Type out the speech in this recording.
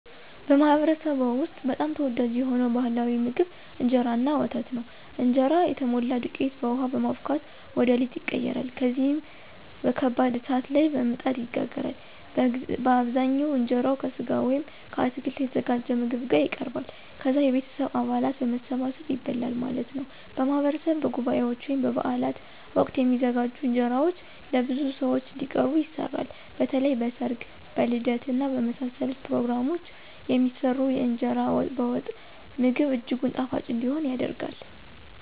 በማኅበረሰብዎ ውስጥ በጣም ተወዳጅ የሆነው ባሕላዊ ምግብ እንጀራ እና ወተት ነው። እንጀራ የተሞላ ዱቄትን በውሃ በማቡካት ወደ ሊጥ ይቀየራል። ከዚያም በከባድ እሳት ላይ በምጣድ ይጋገራል። በአብዛኛው እንጀራው ከሥጋ ወይም ከአትክልት የተዘጋጀ ምግብ ጋር ይቀርባል። ከዛ የቤተሰብ አባላት በመሰባሰብ ይበላል ማለት ነው። በማህበረሰብ በጉባኤዎች ወይም በበዓላት ወቅት የሚዘጋጁ እንጀራዎች ለብዙ ሰዎች እንዲቀርቡ ይሰራሉ። በተለይም በ ሰርግ ,በልደት እና በመሳሰሉት ፕሮግራሞች የሚሰራው የእንገራ በወጥ ምግብ እጅጉን ጣፋጭ እንዲሆን ይደረጋል።